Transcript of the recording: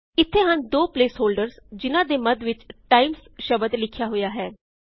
ਇੱਥੇ ਹਨ ਦੋ ਪ੍ਲੇਸ ਹੋਲ੍ਡਰਸ ਜਿਨਾਂ ਦੇ ਮੱਧ ਵਿੱਚ ਟਾਈਮਜ਼ ਸ਼ਬਦ ਲਿਖਿਆ ਹੋਇਆ ਹੈ